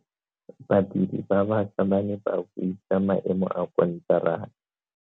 Badiri ba baša ba ne ba buisa maemo a konteraka.